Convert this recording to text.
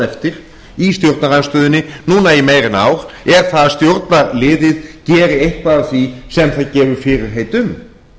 eftir í stjórnarandstöðunni núna í meira en ár er það að stjórnarliðið geri eitthvað af því sem það gefur fyrirheit um